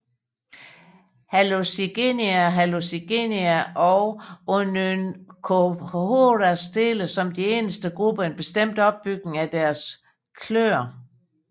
Hallucigenia Hallucigenia og Onychophoras deler som de eneste grupper en bestemt opbygning af deres kløer